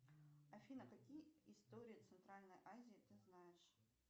афина какие истории центральной азии ты знаешь